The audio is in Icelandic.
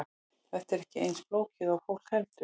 Þetta er ekki eins flókið og fólk heldur.